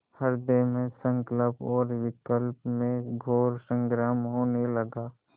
हृदय में संकल्प और विकल्प में घोर संग्राम होने लगा